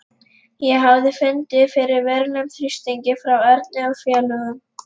Ég hafði fundið fyrir verulegum þrýstingi frá Erni og félögum.